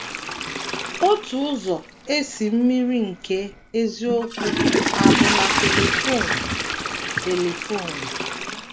Otu ụzọ e si mmiri nke eziokwu a bụ na telifon. telifon.